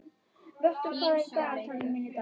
Vöttur, hvað er í dagatalinu mínu í dag?